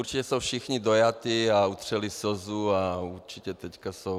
Určitě jsou všichni dojati a utřeli slzu a určitě teď jsou...